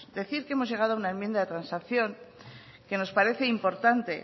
decir que hemos llegado a una enmienda de transacción que nos parece importante